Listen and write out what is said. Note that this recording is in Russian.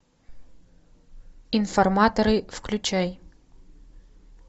информаторы включай